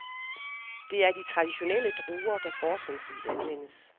Det er de traditionelle druer, der fortrinsvis anvendes.